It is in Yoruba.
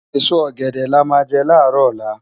Esó ògèdè lá má jè lárò òlá